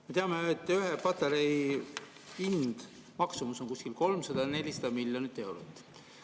Me teame, et ühe patarei hind, maksumus on kuskil 300–400 miljonit eurot.